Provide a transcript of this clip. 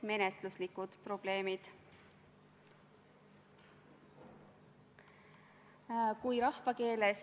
Head kolleegid!